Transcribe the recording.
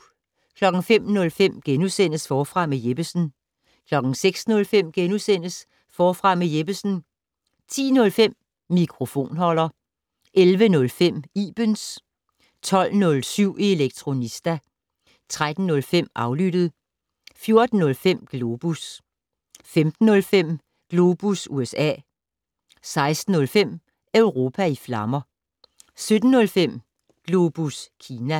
05:05: Forfra med Jeppesen * 06:05: Forfra med Jeppesen * 10:05: Mikrofonholder 11:05: Ibens 12:07: Elektronista 13:05: Aflyttet 14:05: Globus 15:05: Globus USA 16:05: Europa i flammer 17:05: Globus Kina